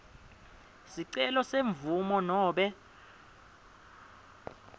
sicelo semvumo nobe